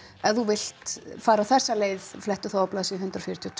ef þú vilt fara þessa leið flettu þá á blaðsíðu hundrað fjörutíu og